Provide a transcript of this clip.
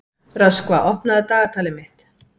Röskva, opnaðu dagatalið mitt.